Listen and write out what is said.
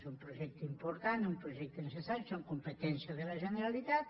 és un projecte important un projecte necessari són competències de la generalitat